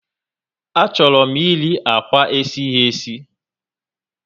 A chọrọ m eri akwa esighi esi